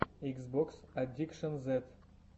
икс бокс аддикшэн зед